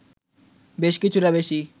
বেশ কিছুটা বেশি